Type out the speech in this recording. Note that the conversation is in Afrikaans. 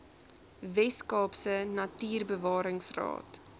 wes kaapse natuurbewaringsraad